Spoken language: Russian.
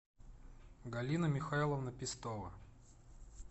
галина михайловна пестова